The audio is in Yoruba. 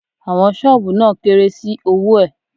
Àwọn ṣọ́ọ̀bù náà kéré sí owó ẹ̀.